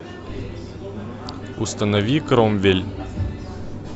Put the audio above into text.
установи кромвель